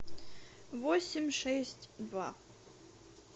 восемь шесть два